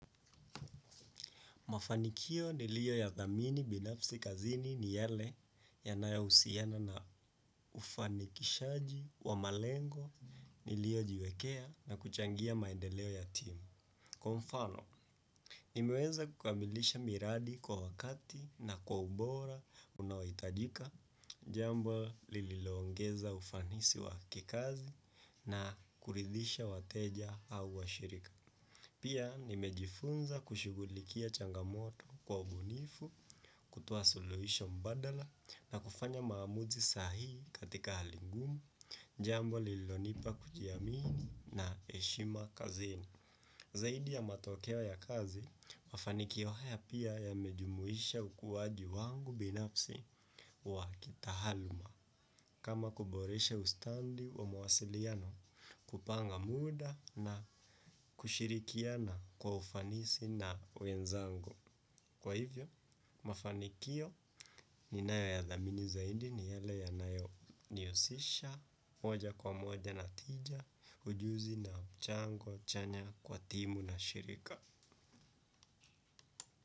Mafanikio nilio yathamini binafsi kazini ni yale yanayohusiana na ufanikishaji wa malengo niliojiwekea na kuchangia maendeleo ya team. Kwa mfano nimeweza kukamilisha miradi kwa wakati na kwa ubora unaohitajika jambo lililoongeza ufanisi wa kikazi na kuridhisha wateja au shirika. Pia nimejifunza kushughulikia changamoto kwa ubunifu, kutoa solution mbadala na kufanya maamuzi sahi katika hali ngumu, jambo lilonipa kujiamini na heshima kazini. Zaidi ya matokeo ya kazi, mafanikio haya pia yamejumuisha ukuwaji wangu binafsi wa kitaaluma kama kuboresha ustadi wa mawasiliano kupanga muda na kushirikiana kwa ufanisi na wenzangu. Kwa hivyo, mafanikio ninayo yathamini zaidi ni yale yanayo nihusisha, moja kwa moja na tija, ujuzi na mchango chanya kwa timu na shirika. Kwa hivyo.